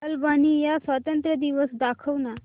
Albania स्वातंत्र्य दिवस दाखव ना